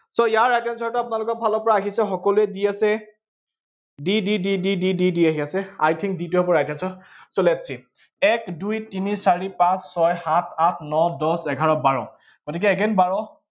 so ইয়াৰ right answer টো আপোনালোকৰ ফালৰ পৰা আহিছে, সকলোৱে দি আছে d d d d d d আহি আছে, I think টো হব right answer, so lets see । এক দুই তিনি চাৰি পাঁচ ছয় সাত আঠ ন দহ এঘাৰ বাৰ। গতিকে again বাৰ